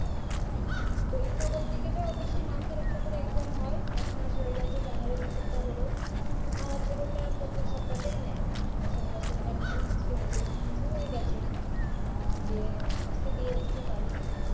পরীক্ষা বলতে গেলে ওদের সেই মাসের একটা করে exam হয় এক মাস হয়ে গেছে january মাসের টা হল আর ছোটোটার প্রত্যেক সপ্তাহেই নেয় আর শনিবার শনিবার হয় আজকে হচ্ছে আজকে হয়ে গেছে যে আজকে দিয়ে এসেছে বাড়ি